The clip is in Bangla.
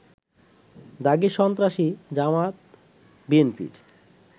দাগী সন্ত্রাসী, জামায়াত-বিএনপির